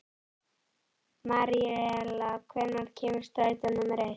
Maríella, hvenær kemur strætó númer eitt?